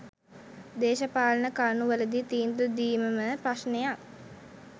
දේශපාලන කරුණු වලදි තීන්දු දීමම ප්‍රශ්නයක්